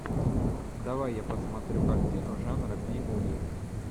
давай я посмотрю картину жанра би муви